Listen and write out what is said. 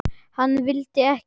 Hann vildi ekki una því.